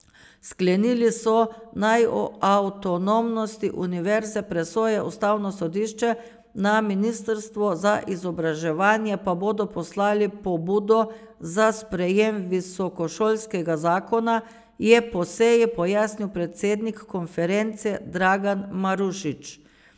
Sklenili so, naj o avtonomnosti univerze presoja ustavno sodišče, na ministrstvo za izobraževanje pa bodo poslali pobudo za sprejem visokošolskega zakona, je po seji pojasnil predsednik konference Dragan Marušič.